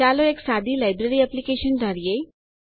ચાલો એક સાદી લાઈબ્રેરી એપ્લીકેશન ધારીએ